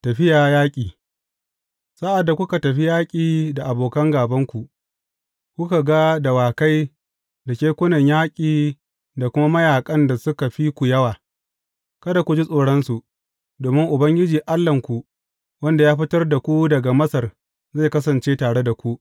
Tafiya yaƙi Sa’ad da kuka tafi yaƙi da abokan gābanku, kuka ga dawakai da kekunan yaƙi da kuma mayaƙan da suka fi ku yawa, kada ku ji tsoronsu, domin Ubangiji Allahnku, wanda ya fitar da ku daga Masar zai kasance tare da ku.